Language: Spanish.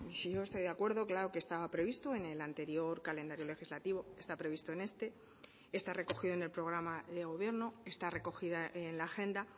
si yo estoy de acuerdo claro que estaba previsto en el anterior calendario legislativo está previsto en este está recogido en el programa de gobierno está recogida en la agenda